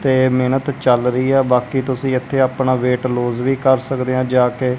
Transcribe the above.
ਤੇ ਮੇਹਨਤ ਚੱਲ ਰਹੀ ਹੈ ਬਾਕੀ ਤੁਸੀਂ ਇੱਥੇ ਅਪਨਾ ਵੇਟ ਲੋਸ ਵੀ ਕਰ ਸਕਦੇ ਹਾਂ ਜਾ ਕੇ।